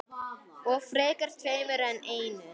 Og frekar tveimur en einum.